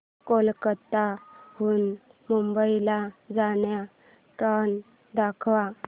कोलकाता हून मुंबई ला जाणार्या ट्रेन दाखवा